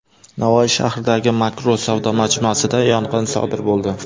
Navoiy shahridagi Makro savdo majmuasida yong‘in sodir bo‘ldi.